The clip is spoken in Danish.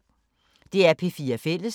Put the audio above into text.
DR P4 Fælles